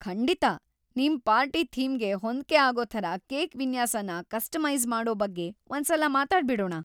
ಖಂಡಿತ! ನಿಮ್ ಪಾರ್ಟಿ ಥೀಮ್‌ಗೆ ಹೊಂದ್ಕೆ ಆಗೋ ಥರ ಕೇಕ್ ವಿನ್ಯಾಸನ ಕಸ್ಟಮೈಸ್ ಮಾಡೋ ಬಗ್ಗೆ ಒಂದ್ಸಲ ಮಾತಾಡ್ಬಿಡೋಣ.